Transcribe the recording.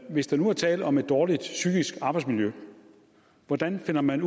hvis der nu er tale om et dårligt psykisk arbejdsmiljø hvordan finder man